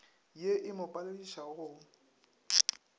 ye e mo paledišago go